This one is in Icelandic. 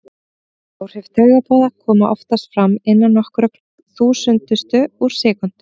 Áhrif taugaboða koma oftast fram innan nokkurra þúsundustu úr sekúndu.